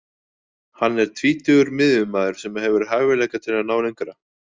Hann er tvítugur miðjumaður sem hefur hæfileika til að ná lengra.